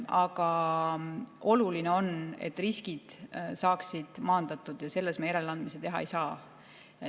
Aga oluline on, et riskid saaksid maandatud, ja selles me järeleandmisi teha ei saa.